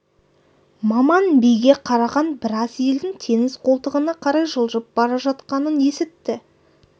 маман биге қараған біраз елдің теңіз қолтығына қарай жылжып бара жатқанын есітті